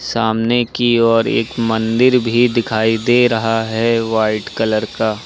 सामने की ओर एक मंदिर भी दिखाई दे रहा है वाइट कलर का।